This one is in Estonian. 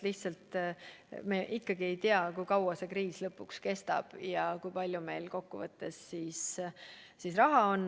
Lihtsalt me ikkagi ei tea, kui kaua see kriis kestab ja kui palju meil kokkuvõttes raha on.